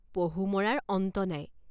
পহু মৰাৰ অন্ত নাই।